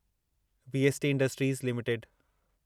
VST industries limited